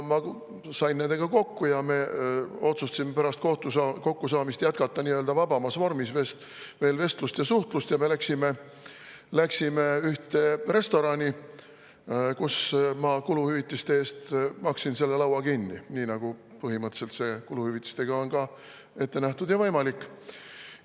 Ma sain nendega kokku ja me otsustasime pärast kokkusaamist jätkata vabamas vormis vestlust ja suhtlust ja me läksime ühte restorani, kus ma maksin kuluhüvitiste eest, nii nagu põhimõtteliselt kuluhüvitiste ka ette näeb.